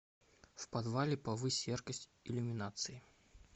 в подвале повысь яркость иллюминации